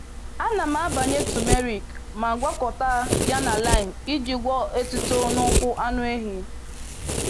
Ana m agbanye turmeric ma gwakọta ya na lime iji gwọọ étúto n’ụkwụ anụ ehi.